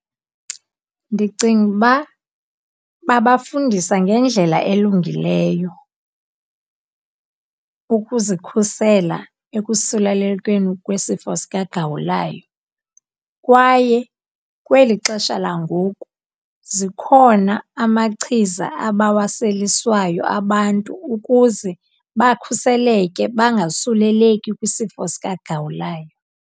Ndicinga uba babafundisa ngendlela elungileyo ukuzikhusela ekusulelekweni kwesifo sikaGawulayo. Kwaye kweli xesha langoku zikhona amachiza abawaseliswayo abantu ukuze bakhuseleke bangasuleleki kwisifo sikaGawulayo.